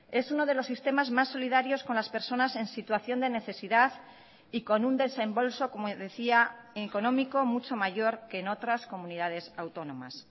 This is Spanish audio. es uno de los sistemas más solidarios con las personas en situación de necesidad y con un desembolso como decía económico mucho mayor que en otras comunidades autónomas